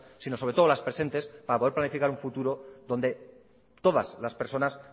sino sobre todo las presentes para poder planificar un futuro donde todas las personas